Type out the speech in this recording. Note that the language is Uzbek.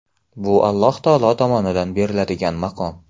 Bu Alloh taolo tomonidan beriladigan maqom.